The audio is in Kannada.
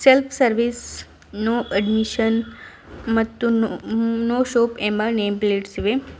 ಸೆಲ್ಫ್ ಸರ್ವಿಸ್ ನೊ ಅಡ್ಮಿಶನ್ ಮತ್ತು ನೊ ನೊ ಶೋಪ್ ಎಂಬ ನೆಮ್ ಪ್ಲೇಟ್ಸ್ ಇವೆ.